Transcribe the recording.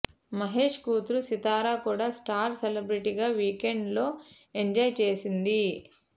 మహేష్ కూతురు సితార కూడా స్టార్ సెలబ్రెటీగా వీకెండ్ లో ఎంజాయ్ చేసింది